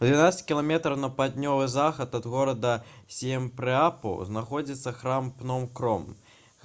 у 12 км на паўднёвы захад ад горада сіемрэапу знаходзіцца храм пном-кром